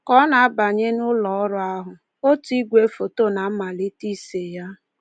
Ka ọ na-abanye n’ụlọọrụ ahụ, otu igwe foto na-amalite ise ya.